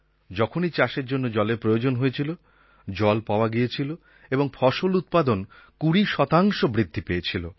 যখনই চাষের জন্য জলের প্রয়োজন হয়েছিল জল পাওয়া গেছিল এবং ফসল উৎপাদন ২০ শতাংশ বৃদ্ধি পেয়েছিল